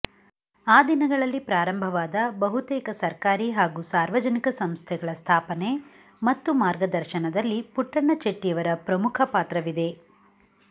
ಆ ದಿನಗಳಲ್ಲಿ ಪ್ರಾರಂಭವಾದ ಬಹುತೇಕ ಸರ್ಕಾರಿ ಹಾಗೂ ಸಾರ್ವಜನಿಕ ಸಂಸ್ಥೆಗಳ ಸ್ಥಾಪನೆ ಮತ್ತು ಮಾರ್ಗದರ್ಶನದಲ್ಲಿ ಪುಟ್ಟಣ್ಣ ಚೆಟ್ಟಿಯವರ ಪ್ರಮುಖ ಪಾತ್ರವಿದೆ